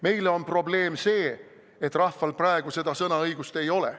Meile on probleem see, et rahval praegu seda sõnaõigust ei ole.